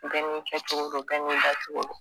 Bɛ ni kɛcogo don bɛ ni dancogo